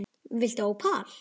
Viltu ópal?